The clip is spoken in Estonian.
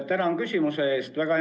Tänan küsimuse eest!